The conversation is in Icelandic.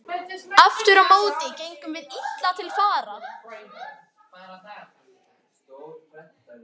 Aftur á móti gengum við illa til fara.